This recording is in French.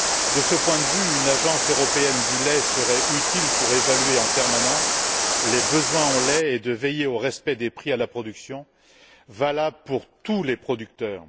De ce point de vue, une Agence européenne du lait serait utile pour évaluer en permanence les besoins en lait et veiller au respect des prix à la production, valables pour tous les producteurs.